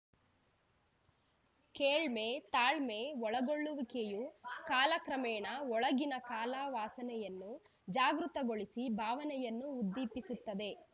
ಕೇಳ್ಮೆ ತಾಳ್ಮೆ ಒಳಗೊಳ್ಳುವಿಕೆಯು ಕಾಲ ಕ್ರಮೇಣ ಒಳಗಿನ ಕಲಾ ವಾಸನೆಯನ್ನು ಜಾಗೃತಗೊಳಿಸಿ ಭಾವನೆಯನ್ನು ಉದ್ದೀಪಿಸುತ್ತದೆ